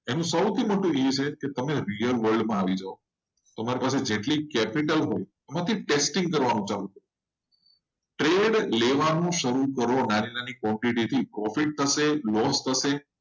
મોટું એ છે કે તમે real world માં આવી જાવ. જેટલી capital હોય એટલી તમારે taxing કરવાની પ્રેટ લેવાનું શરૂ કરો નાની નાની quntity થી